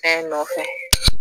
Taa i nɔfɛ.